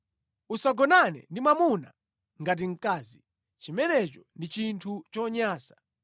“ ‘Usagonane ndi mwamuna ngati mkazi; chimenecho ndi chinthu chonyansa.